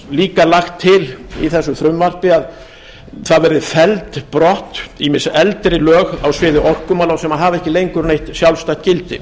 líka lagt til í þessu frumvarpi að það verði felld brott ýmis eldri lög á sviði orkumála sem hafa ekki lengur neitt sjálfstætt gildi